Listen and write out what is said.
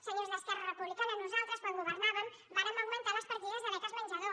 senyors d’esquerra republicana nosaltres quan governàvem vàrem augmentar les partides de beques menjador